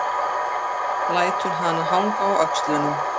Lætur hana hanga á öxlunum.